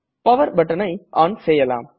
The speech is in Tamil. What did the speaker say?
பவர் buttonஐ ஒன் செய்யலாம்